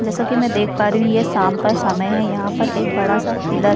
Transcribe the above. जैसा की मै देख पा रही हूँ यह शाम का समय है यहाँ पर एक बड़ा सा पिलर --